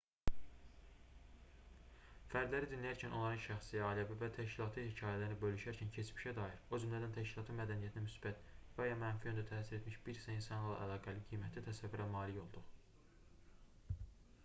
fərdləri dinləyərkən onların şəxsi ailəvi və təşkilati hekayələrini bölüşərkən keçmişə dair o cümlədən təşkilatın mədəniyyətinə müsbət və ya mənfi yöndə təsir etmiş bir sıra insanlarla əlaqəli qiymətli təsəvvürə malik olduq